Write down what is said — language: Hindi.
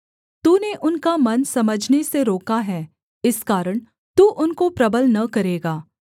तूने उनका मन समझने से रोका है इस कारण तू उनको प्रबल न करेगा